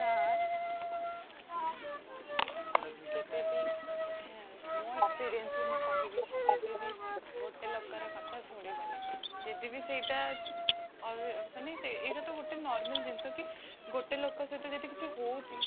ଆଉ କେଭେବି ମୋ experience ରେ ମୁଁ କହିବି କି କେଭେବି ଗୋଟେ ଲୋକର କଥା ଶୁଣିବେନି, ଯଦିବି ସେଇଟା ମାନେ ଏଇଟାତ ଗୋଟେ normal ଜିନିଷ କି ଗୋଟେ ଲୋକ ସହିତ କିଛି ହଉଛି